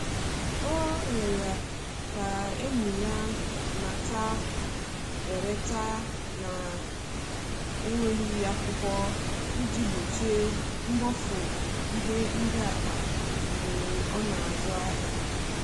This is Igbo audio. ọ riorọ ka enye ya nnata/ereta na nweghi akwụkwo iji gbochie mgbofu ihe ndi mkpa mgbe ọ na azụ ahia